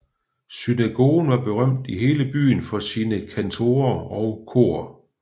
Synagogen var berømt i hele byen for sine kantorer og kor